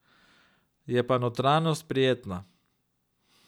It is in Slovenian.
Je pa notranjost prijetna.